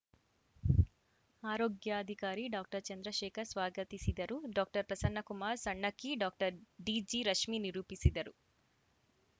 ಆರೋಗ್ಯಾಧಿಕಾರಿ ಡಾಕ್ಟರ್ ಚಂದ್ರಶೇಖರ್‌ ಸ್ವಾಗತಿಸಿದರು doctor Prasannakumar Sannakki doctor D G Rashmi ನಿರೂಪಿಸಿದರು